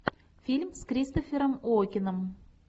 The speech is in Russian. фильм с кристофером уокеном